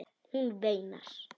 Hún veinar.